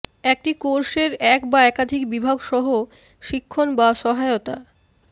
একটি কোর্সের এক বা একাধিক বিভাগ সহ শিক্ষণ বা সহায়তা